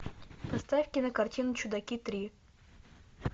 поставь кинокартину чудаки три